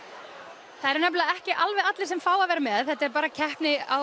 það eru nefnilega ekki alveg allir sem fá að vera með þetta er bara keppni